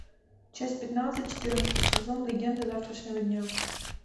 часть пятнадцать четырнадцатый сезон легенды завтрашнего дня